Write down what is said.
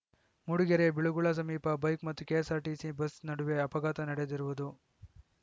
ಮೂಡಿಗೆರೆಯ ಬಿಳುಗುಳ ಸಮೀಪ ಬೈಕ್‌ ಮತ್ತು KSRTC bus ನಡುವೆ ಅಪಘಾತ ನಡೆದಿರುವುದು